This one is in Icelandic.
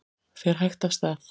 Fer hægt af stað